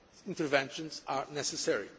case interventions are necessary.